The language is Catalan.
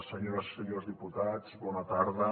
senyores i senyors diputats bona tarda